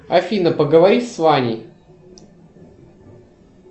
афина поговори с ваней